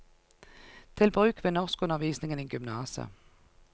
Til bruk ved norskundervisningen i gymnaset.